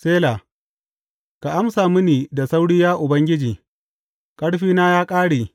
Sela Ka amsa mini da sauri, ya Ubangiji; ƙarfina ya ƙare.